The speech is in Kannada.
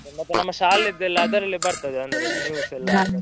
ಮತ್ತೆ ನಮ್ಮ ಶಾಲೆಯದ್ದೆಲ್ಲಾ ಅದರಲ್ಲೇ ಬರ್ತದೆ ಅಂದ್ರೆ news ಎಲ್ಲಾ.